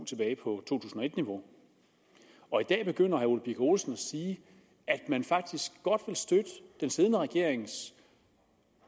tilbage på to tusind og et niveau og i dag begynder herre ole birk olesen at sige at man faktisk godt vil støtte den siddende regerings